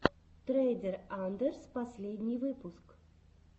трейдер андрэс последний выпуск